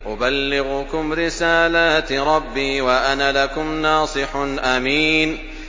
أُبَلِّغُكُمْ رِسَالَاتِ رَبِّي وَأَنَا لَكُمْ نَاصِحٌ أَمِينٌ